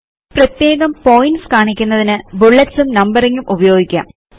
പ്രത്യേകം പോയിന്റ്സ് കാണിക്കുന്നതിന് ബുല്ലെറ്റ്സ് ഉം നമ്പറിംഗ് ഉം ഉപയോഗിക്കാം